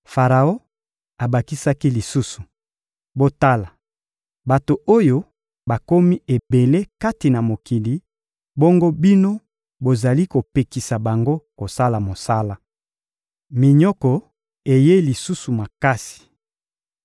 Faraon abakisaki lisusu: — Botala! Bato oyo bakomi ebele kati na mokili, bongo bino bozali kopekisa bango kosala mosala! Minyoko eyei lisusu makasi